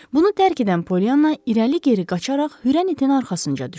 Bunu dərk edən Polyana irəli-geri qaçaraq hürən itin arxasınca düşdü.